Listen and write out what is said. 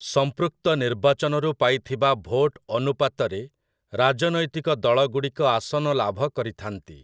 ସଂମ୍ପୃକ୍ତ ନିର୍ବାଚନରୁ ପାଇଥିବା ଭୋଟ ଅନୁପାତରେ ରାଜନୈତିକ ଦଳଗୁଡ଼ିକ ଆସନ ଲାଭ କରିଥାନ୍ତି ।